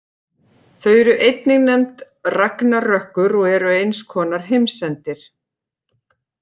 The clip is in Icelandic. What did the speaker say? Þau eru einnig nefnd ragnarökkur og eru eins konar heimsendir.